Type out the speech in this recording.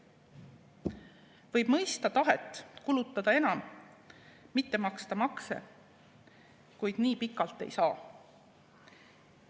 Võib mõista tahet kulutada enam, mitte maksta makse, kuid nii pikalt ei saa.